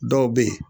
Dɔw bɛ yen